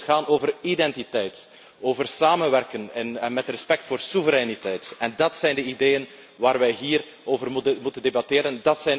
Het moet gaan over identiteit, over samenwerken met respect voor soevereiniteit, en dat zijn de ideeën waar wij hier over moeten debatteren.